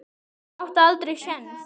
Ég átti aldrei séns.